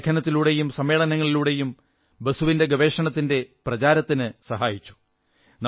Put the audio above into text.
അവർ ലേഖനങ്ങളിലൂടെയും സമ്മേളനങ്ങളിലൂടെയും ബോസിന്റെ ഗവേഷണത്തിന്റെ പ്രചാരത്തിനു സഹായിച്ചു